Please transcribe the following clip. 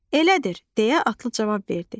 Elədir, deyə atlı cavab verdi.